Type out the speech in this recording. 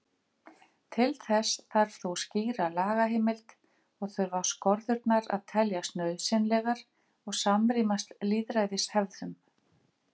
Til þess þarf þó skýra lagaheimild og þurfa skorðurnar að teljast nauðsynlegar og samrýmast lýðræðishefðum.